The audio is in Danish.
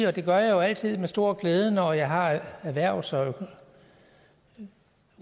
og det gør jeg jo altid med stor glæde når jeg har erhvervs og